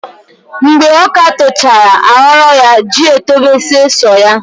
Mgbe ọka tochara aghọrọ ya ji etobezie sọ ya.